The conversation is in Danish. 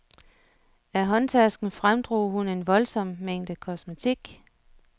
Af håndtasken fremdrog hun en voldsom mængde kosmetik.